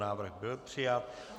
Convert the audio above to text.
Návrh byl přijat.